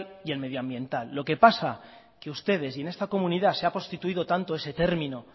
y el medioambiental lo que pasa es que ustedes y en esta comunidad se ha prostituido tanto ese término